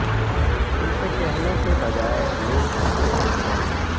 ان سے کہنے کے بجائے لوگ ان سے پوچھیں